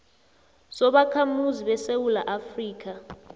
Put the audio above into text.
sobakhamuzi besewula afrika